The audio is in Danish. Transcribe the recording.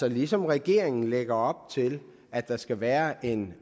at ligesom regeringen lægger op til at der skal være en